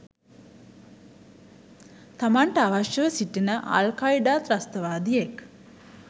තමන්ට අවශ්‍යව සිටින අල්කයීඩා ත්‍රස්තවාදියෙක්